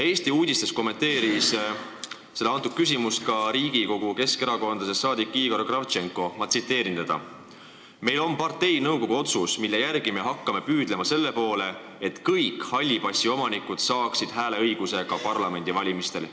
"Eesti uudistes" kommenteeris seda küsimust ka Riigikogu keskerakondlasest saadik Igor Kravtšenko, keda ma nüüd tsiteerin: "Meil on parteinõukogu otsus, mille järgi me hakkame püüdlema selle poole, et kõik halli passi omanikud saaksid hääleõiguse ka parlamendivalimistel.